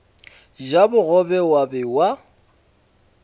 ja bogobe wa be wa